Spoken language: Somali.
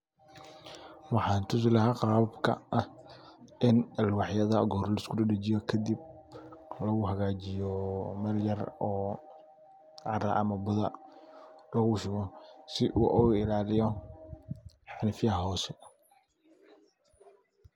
Waxan tusi laha qababka ah ini aklwaxyada laisku dajiyo ,si u oga illaliyo herfaha hose.